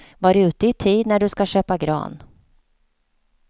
Var ute i tid när du ska köpa gran.